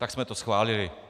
Tak jsme to schválili.